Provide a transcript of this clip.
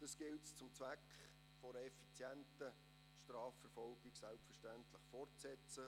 Es gilt selbstverständlich, diese zum Zweck einer effizienten Strafverfolgung fortzusetzen.